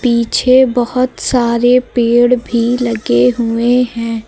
पीछे बहोत सारे पेड़ भी लगे हुए हैं।